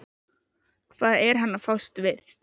Og hvað er hann að fást við?